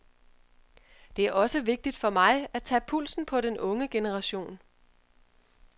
Det er også vigtigt for mig, at tage pulsen på den unge generation.